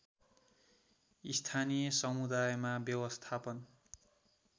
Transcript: स्थानीय समुदायमा व्यवस्थापन